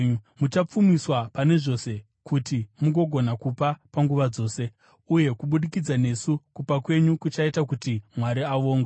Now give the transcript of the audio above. Muchapfumiswa pane zvose kuti mugogona kupa panguva dzose, uye kubudikidza nesu kupa kwenyu kuchaita kuti Mwari avongwe.